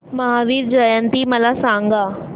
महावीर जयंती मला सांगा